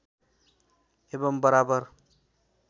एवम् बराबर